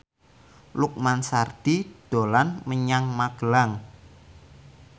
Lukman Sardi dolan menyang Magelang